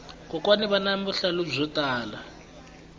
kokwani vana vuhlalu byo tala